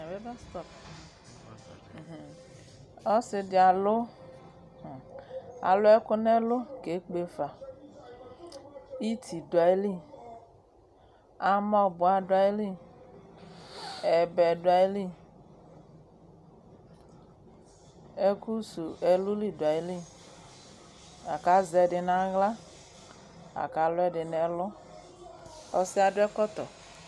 Nyawe bas stop mhm, ɔse de alu hm, alu ɛku no ɛlu kekpe fa Iti do ayili, amɔboa do ayili, ɛbɛ do ayili, ɛku su ɛluli so ayili, la ko azɛ ɛde no ahla, la ko alu ɛde no ɛlu Ɔsiɛ ado ɛkɔltɔ